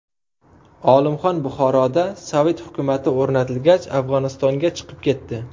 Olimxon Buxoroda sovet hukumati o‘rnatilgach, Afg‘onistonga chiqib ketdi.